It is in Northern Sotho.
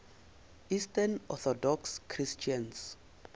eastern orthodox christians